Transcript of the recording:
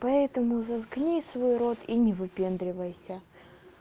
поэтому заткни свой рот и не выпендривайся